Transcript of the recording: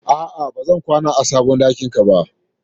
A'a, ba zan kwana a sabon ɗakin ka ba.